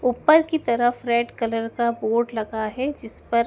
ऊपर की तरफ रेड कलर का बोर्ड लगा है जिस पर--